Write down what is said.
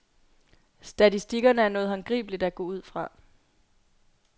Statistikkerne er noget håndgribeligt at gå ud fra.